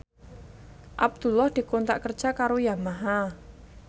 Abdullah dikontrak kerja karo Yamaha